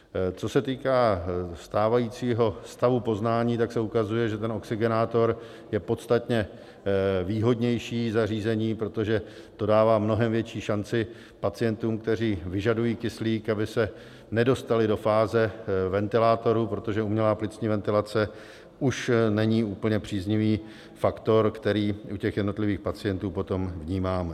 Co se týká stávajícího stavu poznání, tak se ukazuje, že ten oxygenátor je podstatně výhodnější zařízení, protože to dává mnohem větší šanci pacientům, kteří vyžadují kyslík, aby se nedostali do fáze ventilátorů, protože umělá plicní ventilace už není úplně příznivý faktor, který u těch jednotlivých pacientů potom vnímáme.